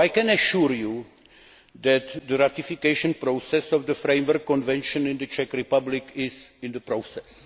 I can assure you that the ratification process of the framework convention in the Czech Republic is in progress.